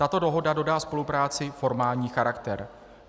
Tato dohoda dodá spolupráci formální charakter.